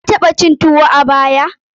Ka taɓa cin tuwo a baya?